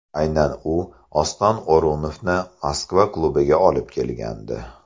Aynan u Oston O‘runovni Moskva klubiga olib kelgandi.